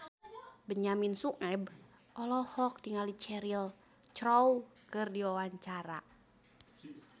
Benyamin Sueb olohok ningali Cheryl Crow keur diwawancara